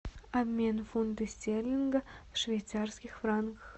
обмен фунта стерлинга в швейцарских франках